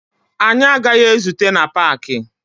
Anyị agaghị ezute na paakị